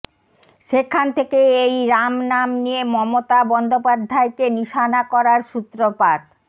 সেখান থেকে এই রাম নাম নিয়ে মমতা বন্দ্যোপাধ্যায়কে নিশানা করার সূত্রপাত